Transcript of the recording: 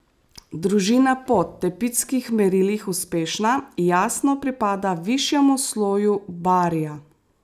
Družina, po tepitskih merilih uspešna, jasno pripada višjemu sloju barria.